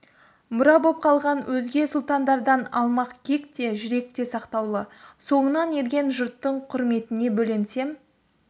мұра боп қалған өзге сұлтандардан алмақ кек те жүректе сақтаулы соңынан ерген жұрттың құрметіне бөленсем